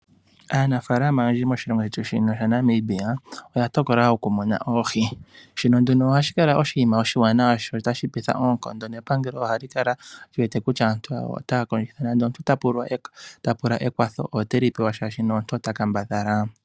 Aanafaalama oyendji moshilongo shetu shino shaNamibia oya tokola okumuna oohi. Shino ohashi kala nduno oshinima oshiwanawa sho otashi petha oonkondo, nepangelo ohali kala li wete kutya aantu yawo otaya kondjitha, nenge omuntu ota pula ekwatho ote li pewa shaashi omuntu ota kambadhala.